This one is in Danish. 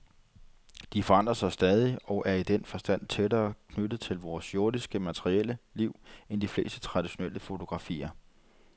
De forandrer sig stadig, og er i den forstand tættere knyttet til vores jordiske, materielle, liv end de fleste traditionelle fotografier.